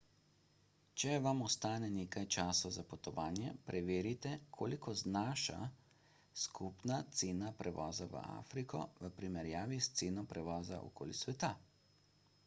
če vam ostane nekaj časa za potovanje preverite koliko znaša skupna cena prevoza v afriko v primerjavi s ceno prevoza okoli sveta